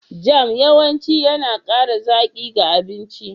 Jam yawanci yana ƙara zaƙi ga abinci.